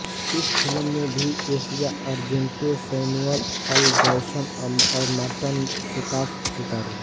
इस फिल्म में भी Asia Argento Samuel L Jackson और मार्टन सोकास सितारों